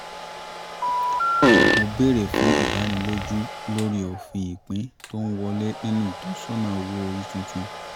mo bèrè fún ìdánilójú lórí òfin ìpín tó ń wọlé nínú ìtọ́sọ̀nà owó orí tuntun